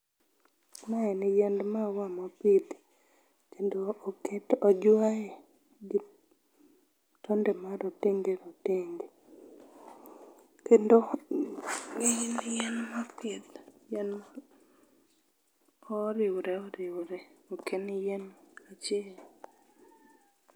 Mae en yiend maua mopidh, kendo ma oket, ojuaye kod tonde marotenge rotenge. Kendo en yien mopidh moriwre oriwre. Ok en yien achiel.